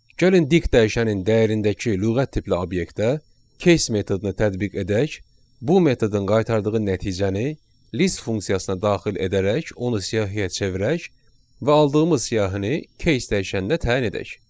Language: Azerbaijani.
Gəlin dik dəyişənin dəyərindəki lüğət tipli obyektə keys metodunu tətbiq edək, bu metodun qaytardığı nəticəni list funksiyasına daxil edərək onu siyahıya çevirək və aldığımız siyahını keys dəyişənə təyin edək.